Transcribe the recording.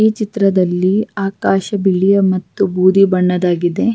ಈ ಚಿತ್ರದಲ್ಲಿ ಆಕಾಶ ಬಿಳಿಯ ಮತ್ತು ಬೂದಿ ಬಣ್ಣದಾಗಿದೆ.